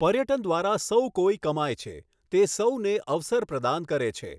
પર્યટન દ્વારા સૌ કોઈ કમાય છે, તે સૌને અવસર પ્રદાન કરે છે.